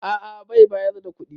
A a bai bayar da kuɗi.